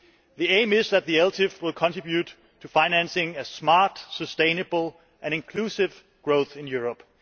The aim is that the ELTIF will contribute to financing smart, sustainable and inclusive growth in Europe.